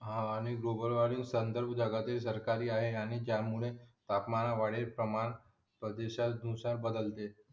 हा आणि global warming संदर्भ जगातील सरकारी आहे आणि ज्या मुळे तापमानात वाढीत प्रमाण नुसार बदलते